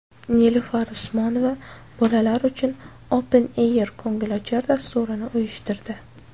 Nilufar Usmonova bolalar uchun Open Air ko‘ngilochar dasturini uyushtirdi .